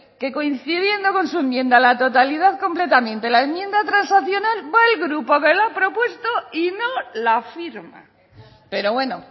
que coincidiendo con su enmienda a la totalidad completamente la enmienda transaccional va el grupo que lo ha propuesto y no la firma pero bueno